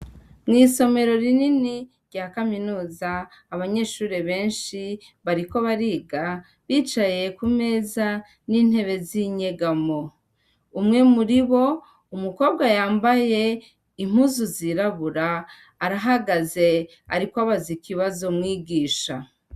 Mw'isomero rinini rya kaminuza, abanyeshure benshi bariko bariga, bicaye ku meza n'intebe z'inyegamo. Umwe muri bo, umukobwa yambaye impuzu zirabura arahagaze, ariko abaza ikibazo mwigisha.